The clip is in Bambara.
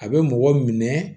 A bɛ mɔgɔ minɛ